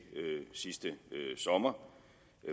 sidste sommer